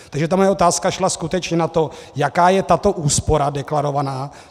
Takže ta moje otázka šla skutečně na to, jaká je tato úspora, deklarovaná.